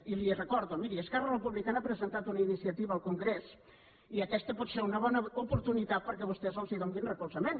i li ho recordo miri esquerra republicana ha presentat una iniciativa al congrés i aquesta pot ser una bona oportunitat perquè vostès hi donen recolzament